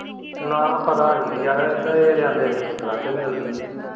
ਨਾ ਪਤਾ ਨਹੀਂ ਹੈ ਯਾਰ ਇਹ ਤੇ ਆਂਦੇ ਪੰਦਰਾਹ ਸ਼ੋ ਹੀ ਮਿਲਦੀ।